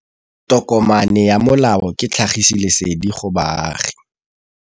Tokomane ya molao ke tlhagisi lesedi go baagi.